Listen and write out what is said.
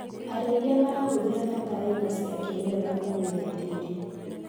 Arĩithia marahũthĩra bataraitha cia kĩmerera kwagĩria tĩri.